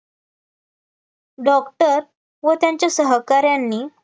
doctor व त्यांच्या सहकार्यांनी